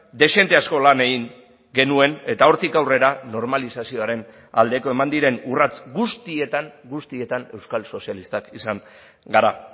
dezente asko lan egin genuen eta hortik aurrera normalizazioaren aldeko eman diren urrats guztietan guztietan euskal sozialistak izan gara